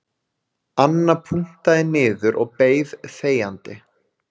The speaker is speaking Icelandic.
Anna punktaði niður og beið þegjandi